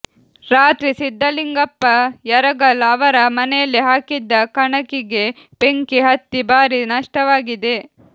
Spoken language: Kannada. ರಾತ್ರಿ ಸಿದ್ದಲಿಂಗಪ್ಪ ಯರಗಲ್ ಅವರ ಮನೆಯಲ್ಲಿ ಹಾಕಿದ್ದ ಕಣಕಿಗೆ ಬೆಂಕಿ ಹತ್ತಿ ಭಾರಿ ನಷ್ಟವಾಗಿದೆ